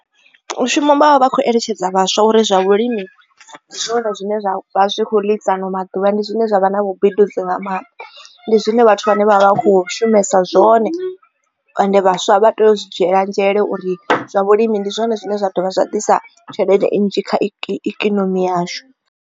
Mushumo vha vha vha kho eletshedza vhaswa uri zwa vhulimi ndi zwone zwine zwa vha zwi kho ḽisa ano maḓuvha ndi zwone zwine zwa vha na vhubindudzi nga maanḓa ndi zwine vhathu vha ne vha vha kho shumesa zwone ende vhaswa vha tea u zwi dzhiela nzhele uri zwa vhulimi ndi zwone zwine zwa dovha zwa ḓisa tshelede nnzhi kha ikonomi yashu.